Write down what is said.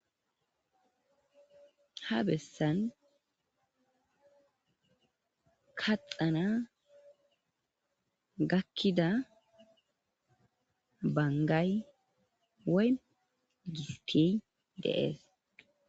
Kaxxana kakkida banggay dizayssa bessishe deetees